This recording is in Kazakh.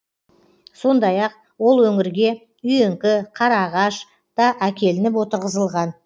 сондай ақ ол өңірге үйеңкі қараағаш та әкелініп отырғызылған